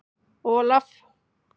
Olaf